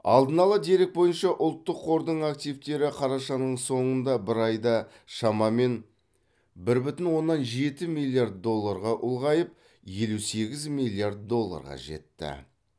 алдын ала дерек бойынша ұлттық қордың активтері қарашаның соңында бір айда шамамен бір бүтін оннан жеті миллиард долларға ұлғайып елу сегіз миллиард долларға жетті